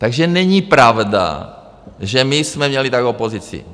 Takže není pravda, že my jsme měli takovou pozici.